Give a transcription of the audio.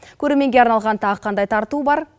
көрерменге арналған тағы қандай тарту бар